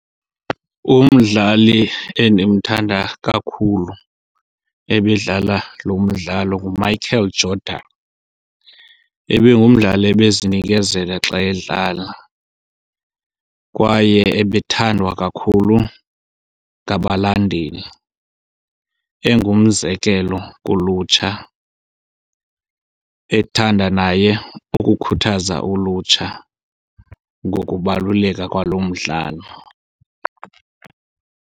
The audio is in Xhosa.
Umdlali endimthanda kakhulu ebedlala lo mdlalo nguMichael Jordan. Ebengumdlali ebezinikezela xa edlala kwaye ebethandwa kakhulu ngabalandeli. Engumzekelo kulutsha ethanda naye ukukhuthaza ulutsha ngokubaluleka kwalo mdlalo.